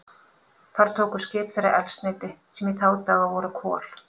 Þar tóku skip þeirra eldsneyti, sem í þá daga voru kol.